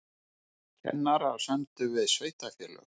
Kennarar sömdu við sveitarfélög